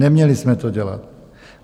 Neměli jsme to dělat.